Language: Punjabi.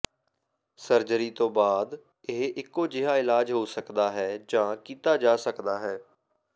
ਸਰਜਰੀ ਤੋਂ ਬਾਅਦ ਇਹ ਇਕੋ ਜਿਹਾ ਇਲਾਜ ਹੋ ਸਕਦਾ ਹੈ ਜਾਂ ਕੀਤਾ ਜਾ ਸਕਦਾ ਹੈ